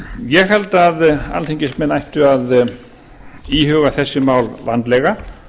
ég held að alþingismenn ættu að íhuga þessi mál vandlega